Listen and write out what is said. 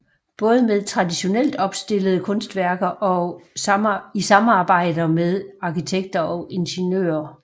Både med traditionelt opstillede kunstværker og i samarbejder med arkitekter og ingeniører